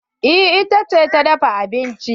Eh ita ce ta dafa abincin.